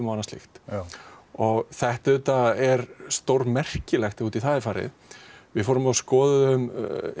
og annað slíkt og þetta er þetta er stórmerkilegt ef út í það er farið við fórum og skoðuðum